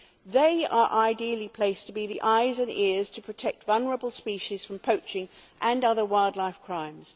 They are ideally placed to be the eyes and ears to protect vulnerable species from poaching and other wildlife crimes.